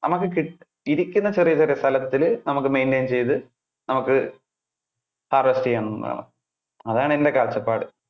നമുക്ക് കി~ ഇരിക്കുന്ന ചെറിയ ചെറിയ സ്ഥലത്തില് നമുക്ക് maintain നമുക്ക് harvest ചെയ്യാണം ന്നുള്ളതാണ്. അതാണ് എന്‍ടെ കാഴ്ചപ്പാട്.